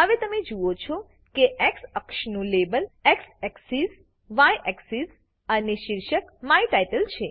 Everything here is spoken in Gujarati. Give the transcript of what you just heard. હવે તમે જુઓ છો કે એક્સ અક્ષનું label x axis y axis અને શીર્ષક માય ટાઇટલ છે